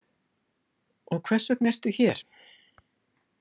Og hvers vegna ertu hér?